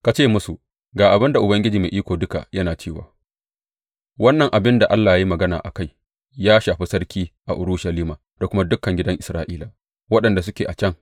Ka ce musu, Ga abin da Ubangiji Mai Iko Duka yana cewa wannan abin da Allah ya yi magana a kai ya shafi sarki a Urushalima da kuma dukan gidan Isra’ila waɗanda suke a can.’